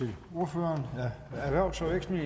her